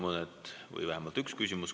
Teile on vähemalt üks küsimus.